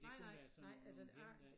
Nej nej nej altså jeg